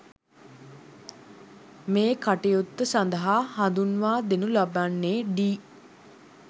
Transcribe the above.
මේ කටයුත්ත සඳහා හඳුන්වා දෙනු ලබන්නේ ඩී